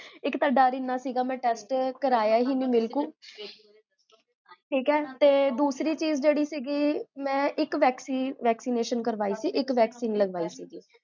ਇਕ ਤਾ ਦਰ ਇੰਨਾ ਸੀਗਾ, ਮੈਂ test ਕਰਾਇਆ ਹੀ ਨਹੀ ਬਿਲਕੁਲ ਠੀਕ ਹੈ? ਤੇ ਦੂਸਰੀ ਚੀਜ਼ ਜੇਹੜੀ ਸੀਗੀ, ਮੈਂ ਇਕ vacci vaccination ਕਰਵਾਈ ਸੀ, vaccine ਲਗਵਾਈ ਸੀ